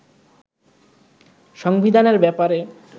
সংবিধানের ব্যাপারে